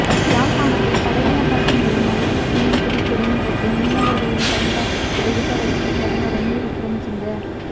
யாழ்ப்பாணத்தில் படையினர் வசம் உள்ள மயிலிட்டி மீன்பிடித் துறைமுகத்தை மீனவர்களின் பயன்பாட்டுக்கு விடுவிப்பதற்கு பிரதமர் ரணில் விக்கிரமசிங்க